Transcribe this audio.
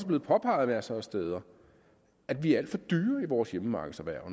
blevet påpeget masser af steder er vi alt for dyre i vores hjemmemarkedserhverv